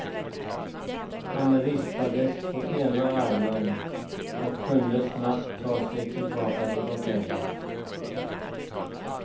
Han rispades på ena armen och kunde snabbt ta sig tillbaka till hotellet.